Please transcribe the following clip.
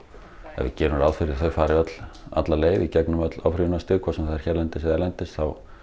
ef við gerum ráð fyrir að þau fari öll alla leið í gegnum öll áfrýjunarstig hvort sem það er hérlendis eða erlendis þá